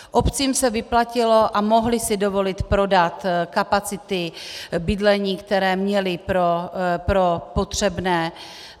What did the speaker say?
Obcím se vyplatilo, a mohly si dovolit prodat kapacity bydlení, které měly pro potřebné.